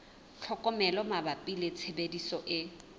tlhokomelo mabapi le tshebediso e